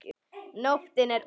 Nóttin er ung